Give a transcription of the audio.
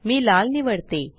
मी लाल निवडते